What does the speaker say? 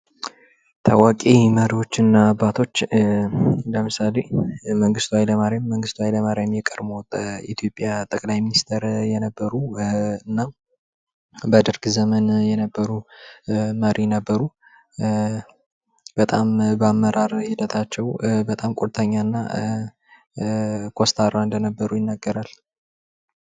ታዋቂ መሪዎችና አባቶች ለምሳሌ መንግስቱ ኃይለማርያም፤ መንግቱ ሀይለማርያም የኢትዮጵያ ጠቅላይ ሚኒስቴር የነበሩ እና በደርግ ዘመን የነበሩ መሪ ነበሩ በጣም በአመራር ሂደታቸው በጣም ቁርጠኛና ኮስታራ እንደነበሩ ይነገራል።